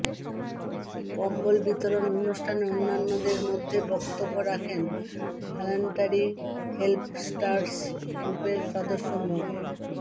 কম্বল বিতরণ অনুষ্ঠানে অন্যান্যদের মধ্যে বক্তব্য রাখেন ভল্যান্ট্যারি হেল্পস্টারস্ গ্রুপের সদস্য মো